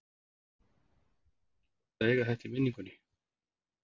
Er ekki gott að eiga þetta í minningunni?